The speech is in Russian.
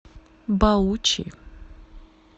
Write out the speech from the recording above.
баучи